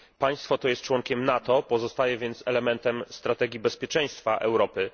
Państwo to jest członkiem NATO, pozostaje więc elementem strategii bezpieczeństwa Europy.